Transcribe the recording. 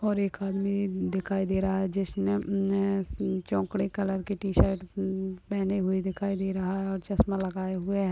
और एक आदमी दिखाई दे रहा है जिसमे ने चोकड़े कलर के टि-शर्ट मह पेहने हुए दिखाई दे रहा है और चश्मा लगाए हुए है।